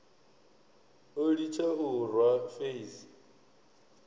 o litsha u rwa feisi